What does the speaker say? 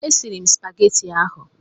E siri m supageti ahụ.